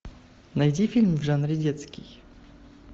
найди фильм в жанре детский